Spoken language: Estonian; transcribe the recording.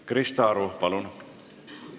Krista Aru, palun!